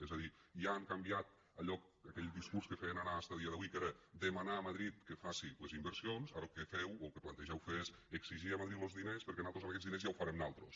és a dir ja han canviat allò aquell discurs que feien anar fins a dia d’avui que era demanar a madrid que faci les inversions ara el que feu o el que plantegeu fer és exigir a madrid los diners perquè nosaltres amb aquests diners ja ho farem nosaltres